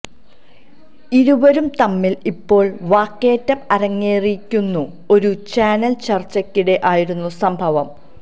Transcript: ഇരുവരും തമ്മില് ഇപ്പോള് വാക്കേറ്റം അരങ്ങേറിയിരിക്കുന്നു ഒരു ചാനല് ചര്ച്ചയ്ക്കിടെ ആയിരുന്നു സംഭവം